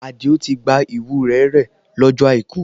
Àdìó ti gba Iwúre rẹ lójó àìkú